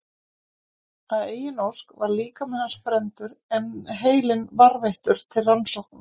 Að eigin ósk var líkami hans brenndur en heilinn varðveittur til rannsókna.